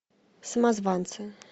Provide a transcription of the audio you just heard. самозванцы